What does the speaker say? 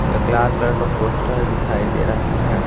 एक लाल कलर का पोस्टर दिखाई दे रहा है।